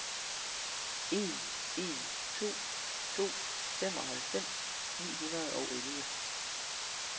en en to to femoghalvfems ni hundrede og elleve